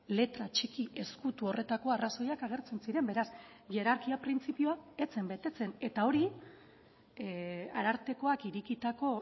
letra txiki ezkutu horretako arrazoiak agertzen ziren beraz hierarkia printzipioa ez zen betetzen eta hori arartekoak irekitako